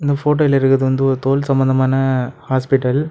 இந்த ஃபோட்டோல இருக்கிறது வந்து ஒரு தோல் சம்பந்தமான ஹாஸ்பிடல் .